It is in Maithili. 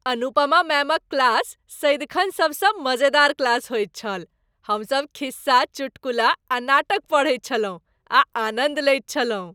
अनुपमा मैमक क्लास सदिखन सबसँ मजेदार क्लास होइत छल। हमसभ खिस्सा , चुटकुला, आ नाटक पढ़ैत छलहुँ आ आनन्द लैत छलहुँ।